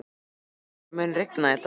Ársæl, mun rigna í dag?